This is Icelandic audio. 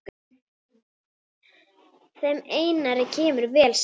Þeim Einari kemur vel saman.